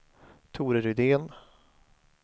Tore Rydén